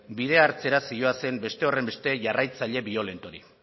bide hartzera zihoazen beste horrenbeste jarraitzaile biolentorik